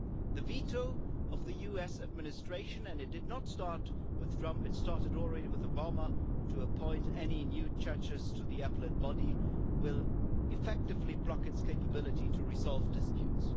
The veto of the US administration and it did not start with Trump, it started already with Obama appointing any new judges to the Appellate Body will effectively block its capability to resolve disputes.